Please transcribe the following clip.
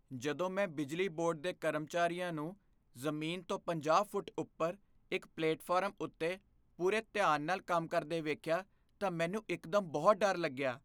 ਜਦੋਂ ਮੈਂ ਬਿਜਲੀ ਬੋਰਡ ਦੇ ਕਰਮਚਾਰੀਆਂ ਨੂੰ ਜ਼ਮੀਨ ਤੋਂ ਪੰਜਾਹ ਫੁੱਟ ਉੱਪਰ ਇੱਕ ਪਲੇਟਫਾਰਮ ਉੱਤੇ ਪੂਰੇ ਧਿਆਨ ਨਾਲ ਕੰਮ ਕਰਦੇ ਵੇਖਿਆ ਤਾਂ ਮੈਨੂੰ ਇੱਕ ਦਮ ਬਹੁਤ ਡਰ ਲੱਗਿਆ